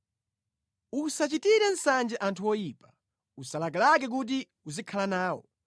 Usachitire nsanje anthu oyipa, usalakalake kuti uzikhala nawo,